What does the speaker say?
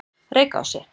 Reykási